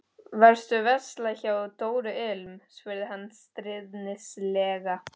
Varstu að versla hjá Dóru ilm? spurði hann stríðnislega.